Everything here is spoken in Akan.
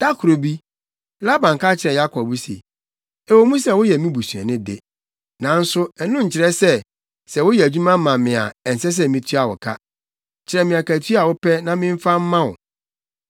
Da koro bi, Laban ka kyerɛɛ Yakob se, “Ɛwɔ mu sɛ woyɛ me busuani de, nanso ɛno nkyerɛ sɛ, sɛ woyɛ adwuma ma me a ɛnsɛ sɛ mitua wo ka. Kyerɛ me akatua a wopɛ na memfa mma wo.”